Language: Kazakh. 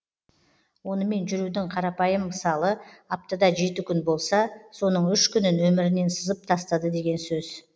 онымен жүрудің қарапайым мысалы аптада жеті күн болса соның үш күнін өмірінен сызып тастады деген сөз